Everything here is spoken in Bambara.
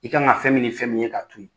I ka kan fɛn min ni fɛn min ye k'a to ye